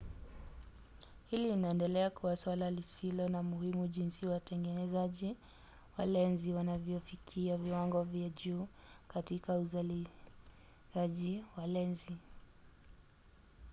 hili linaendelea kuwa suala lisilo la muhimu jinsi watengenezaji wa lenzi wanavyofikia viwango vya juu katika uzalizaji wa lenzi